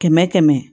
Kɛmɛ kɛmɛ